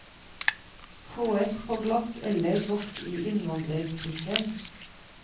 Fåes på glass eller boks i innvandrerbutikken.